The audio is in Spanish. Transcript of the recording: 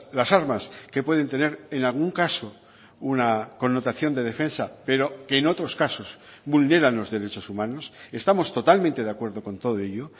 las armas que pueden tener en algún caso una connotación de defensa pero que en otros casos vulneran los derechos humanos estamos totalmente de acuerdo con todo ello